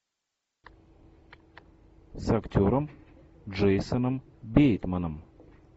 с актером джейсоном бейтманом